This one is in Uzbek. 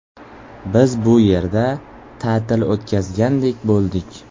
Biz bu yerda ta’til o‘tgazgandek bo‘ldik.